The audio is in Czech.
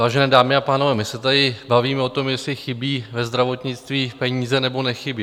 Vážené dámy a pánové, my se tady bavíme o tom, jestli chybí ve zdravotnictví peníze, nebo nechybí.